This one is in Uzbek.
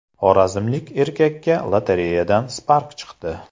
Xorazmlik erkakka lotereyadan Spark chiqdi.